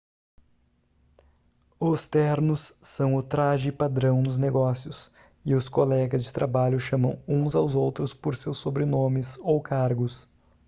os ternos são o traje-padrão nos negócios e os colegas de trabalho chamam uns aos outros por seus sobrenomes ou cargos